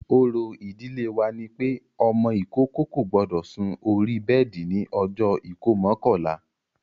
Òrò ìdílé wa ni pé ọmọ ìkókó kò gbọdọ̀ sun orí bẹ́ẹ̀di ní ọjọ́ ìkómọ kọ̀la